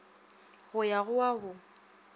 go ya go wa go